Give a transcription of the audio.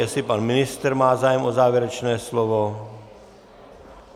Jestli pan ministr má zájem o závěrečné slovo?